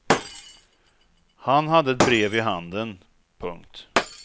Han hade ett brev i handen. punkt